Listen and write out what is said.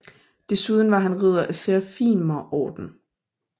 Desuden var han ridder af Serafimerorden